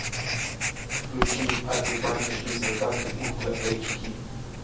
включи аты баты шли солдаты ультра эйч ди